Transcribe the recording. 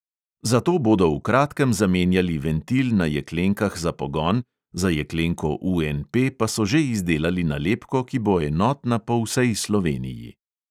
Zato bodo v kratkem zamenjali ventil na jeklenkah za pogon, za jeklenko UNP pa so že izdelali nalepko, ki bo enotna po vsej sloveniji.